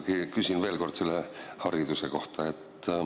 Ma ikkagi küsin veel kord hariduse kohta.